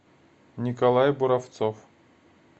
николай буравцов